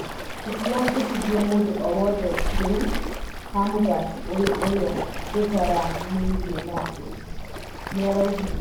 "Tũtirandĩkithia mũndũ o wothe rĩu has mũthaki ũyũ ũrĩa tũtaranĩirie nake," nĩaraugire